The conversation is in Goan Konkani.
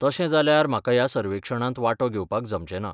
तशें जाल्यार, म्हाका ह्या सर्वेक्षणांत वांटो घेवपाक जमचें ना.